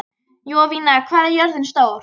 Jovina, hvað er jörðin stór?